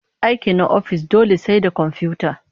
Aiki na na ofis dole sai da komfiyuta